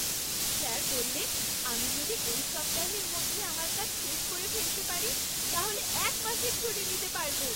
Sir বললেন আমি যদি এই সপ্তাহের মধ্যে আমার কাজ শেষ করে ফেলতে পারি তাহলে এক মাসের ছুটি নিতে পারব!